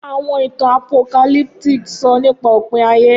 Awọn itan Apocalyptic sọ nipa opin aye.